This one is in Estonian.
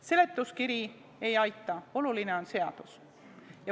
Seletuskiri ei aita, oluline on seadus.